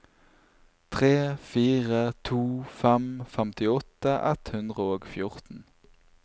tre fire to fem femtiåtte ett hundre og fjorten